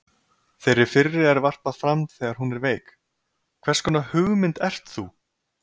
Þeirri fyrri er varpað fram þegar hún er veik: HVERS KONAR HUGMYND ERT ÞÚ?